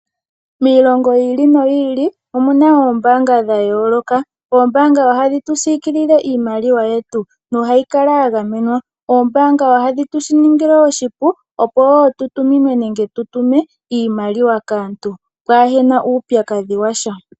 Miilongo yi ili noyi ili omu na oombaanga dha yooloka. Oombaanga ohadhi tu siikilile iimaliwa yetu nohayi kala ya gamenwa. Oombaanga ohadhi shi tu ningile oshipu, opo wo tu tuminwe nenge tu tutume iimaliwa kaantu pwaa he na uupyakadhi wa sha.